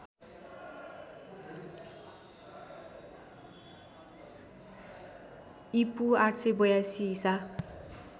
ईपू ८८२ ईसा